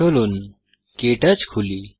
চলুন কে টচ খুলি